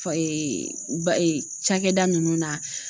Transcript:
ba cakɛda ninnu na.